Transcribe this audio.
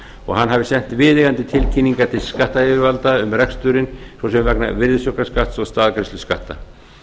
og hann hafi sett viðeigandi tilkynningar til skattyfirvalda um reksturinn svo sem vegna virðisaukaskatts og staðgreiðslu skatta